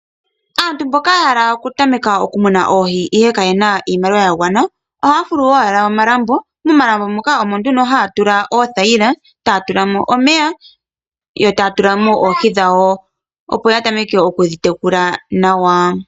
Aantu mboka yahala oku tameka oku muna Oohi ihe ka yena iimaliwa ya gwana oha yafulu owala omalambo, momalambo muka omo nduno ha ya tulamo oothayila, taya tulamo omeya, yo ta ya tulamo Oohi dhawo opo ya tameke oku dhi tekula nawa.